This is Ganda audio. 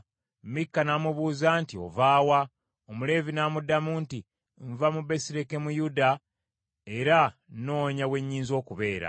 Mikka n’amubuuza nti, “Ova wa?” Omuleevi n’amuddamu nti, “Nva mu Besirekemuyuda, era nnoonya we nnyinza okubeera.”